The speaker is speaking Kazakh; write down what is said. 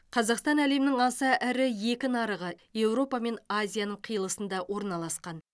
қазақстан әлемнің аса ірі екі нарығы еуропа мен азияның қиылысында орналасқан